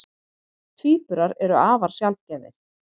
Tvíburar eru afar sjaldgæfir.